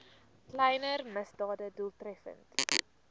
kleiner misdade doeltreffend